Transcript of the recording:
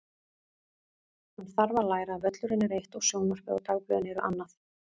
Hann þarf að læra að völlurinn er eitt og sjónvarpið og dagblöðin eru annað.